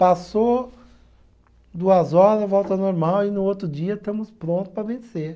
Passou duas hora, volta ao normal e no outro dia estamos prontos para vencer.